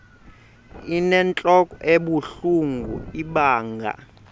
inentlok ebuhlungu ibanga